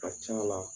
Ka c'a la